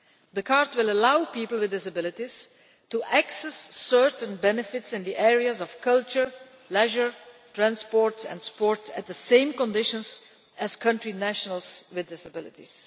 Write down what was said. The card will allow people with disabilities to access certain benefits in the areas of culture, leisure, transport and sport on the same conditions as nationals of the countries concerned with disabilities.